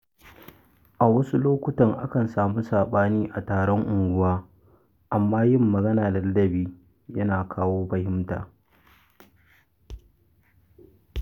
A wasu lokutan, akan samu saɓani a taron unguwa, amma yin magana da ladabi yana kawo fahimta.